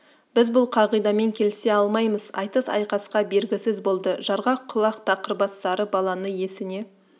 біз бұл қағидамен келісе алмаймыз айтыс айқасқа бергісіз болды жарғақ құлақ тақыр бас сары баланы есіне